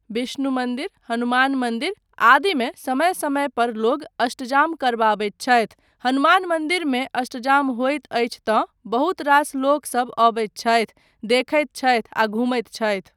बिष्णु मन्दिर, हनुमान मन्दिर आदिमे समय समय पर लोग अष्टजाम करबाबैत छथि, हनुमान मन्दिरमे अष्टजाम होइत अछि तँ बहुत रास लोकसब अबैत छथि, देखैत छथि आ घुमैत छथि।